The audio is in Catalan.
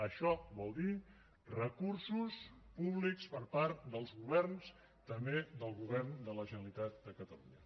això vol dir recursos públics per part dels governs també del govern de la generalitat de catalunya